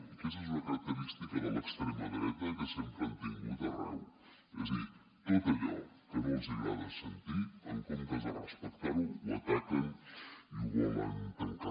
i aquesta és una característica de l’extrema dreta que sempre ha tingut arreu és a dir tot allò que no els hi agrada sentir en comptes de respectar ho ho ataquen i ho volen tancar